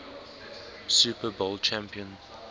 super bowl champion